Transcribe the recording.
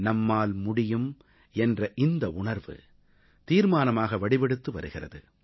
நம்மால் முடியும் என்ற இந்த உணர்வு தீர்மானமாக வடிவெடுத்து வருகிறது